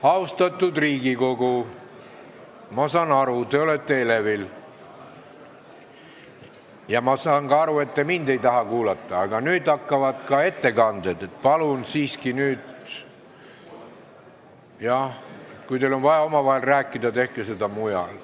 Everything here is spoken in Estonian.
Austatud Riigikogu, ma saan aru, et te olete elevil, ja ma saan ka aru, et te mind ei taha kuulata, aga nüüd hakkavad ettekanded, nii et palun siiski, et kui teil on vaja omavahel rääkida, siis tehke seda mujal.